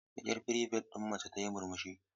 Da ƙyar prefect ɗin mace tayi murmushi.